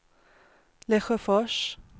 Lesjöfors